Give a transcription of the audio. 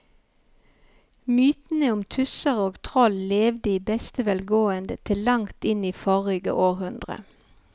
Mytene om tusser og troll levde i beste velgående til langt inn i forrige århundre.